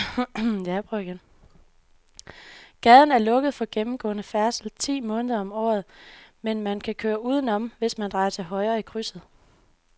Gaden er lukket for gennemgående færdsel ti måneder om året, men man kan køre udenom, hvis man drejer til højre i krydset.